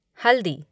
हल्दी